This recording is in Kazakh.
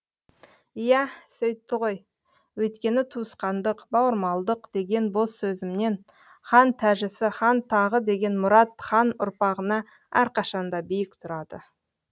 иә сөйтті ғой өйткені туысқандық бауырмалдық деген бос сөзімнен хан тәжісі хан тағы деген мұрат хан ұрпағына әрқашан да биік тұрады